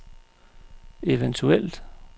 eventuelt